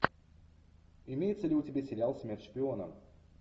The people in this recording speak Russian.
имеется ли у тебя сериал смерть шпионам